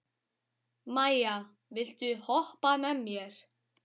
Maia, viltu hoppa með mér?